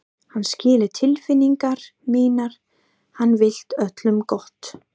Hann skilur tilfinningar mínar, hann vill öllum gott.